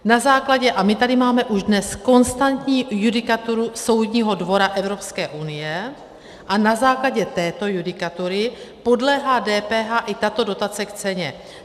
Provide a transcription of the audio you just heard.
Na základě, a my tady máme už dnes konstantní judikaturu Soudní dvora Evropské unie, a na základě této judikatury podléhá DPH i tato dotace k ceně.